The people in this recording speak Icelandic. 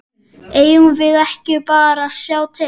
Eigum við ekki bara að sjá til?